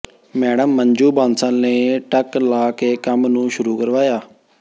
madam Manju Bansal ਨੇ ਟੱਕ ਲਾ ਕੇ ਕੰਮ ਨੂੰ ਸ਼ੁਰੂ ਕਰਵਾਇਆ